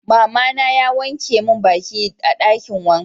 Mama na ya wanke min baki a dakin wanka.